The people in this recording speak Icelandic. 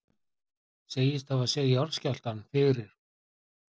Segist hafa séð jarðskjálftann fyrir